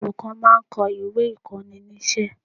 Àwọn olùkọ́ máa ń kó ìwé ìkóninísé